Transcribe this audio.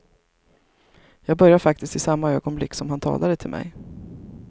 Jag började faktiskt i samma ögonblick som han talade till mig.